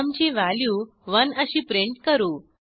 sum ची value 1 अशी print करू